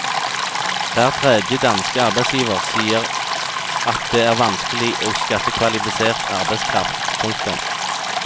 Hver tredje danske arbeidsgiver sier at det er vanskelig å skaffe kvalifisert arbeidskraft. punktum